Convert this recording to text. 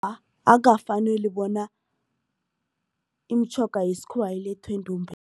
Akukafaneli bona imitjhoga yesikhuwa ilethwe